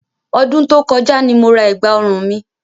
Ọdún tó kọjá ni mo ra ẹ̀gbà òrun mi.